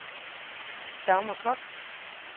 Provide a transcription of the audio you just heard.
Dagmar Kock